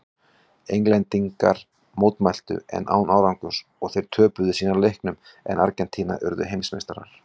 Englendingar mótmæltu en án árangurs og þeir töpuðu síðan leiknum en Argentína urðu heimsmeistarar.